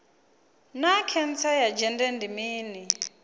naa khentsa ya dzhende ndi mini